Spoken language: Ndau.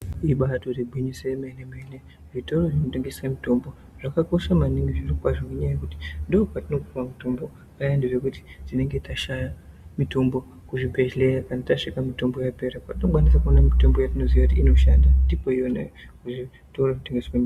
Ibatori gwinyiso yemene mene kuti zvitoro zvinotengesa mitombo zvakambakosha maningi zvirokwazvo ngenyaya yekuti ndikwo kwatinopuwa mutombo payani pekuti tinenge tashaya mitombo kuzvibhedhleya kana tasvika mitombo yapera. Kwatinokwanisa kuona mutombo yatinoziya kuti inoshanda ndikwona iyoyo.